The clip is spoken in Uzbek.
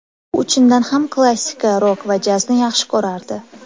U chindan ham klassika, rok va jazni yaxshi ko‘rardi.